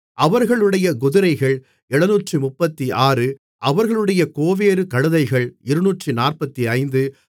அவர்களுடைய குதிரைகள் 736 அவர்களுடைய கோவேறு கழுதைகள் 245